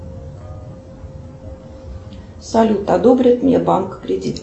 салют одобрит мне банк кредит